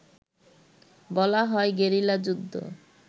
বলা হয় গেরিলা যুদ্ধ